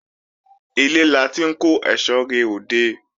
Ilé la ti ń kó èsó re òde